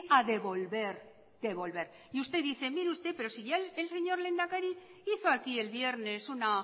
a devolver usted dice mire usted pero si ya el señor lehendakari hizo aquí el viernes una